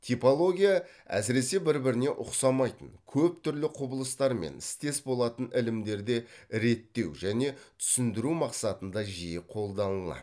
типология әсіресе бір біріне үқсамайтын көп түрлі құбылыстармен істес болатын ілімдерде реттеу және түсіндіру мақсатында жиі қолданылады